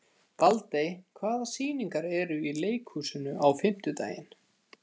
Baldey, hvaða sýningar eru í leikhúsinu á fimmtudaginn?